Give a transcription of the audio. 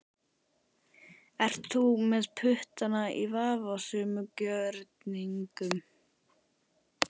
Ert þú með puttana í vafasömum gjörningum?